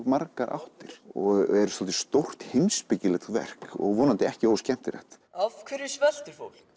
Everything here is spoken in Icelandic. margar áttir og er svolítið stórt heimspekilegt verk og vonandi ekki óskemmtilegt af hverju sveltir fólk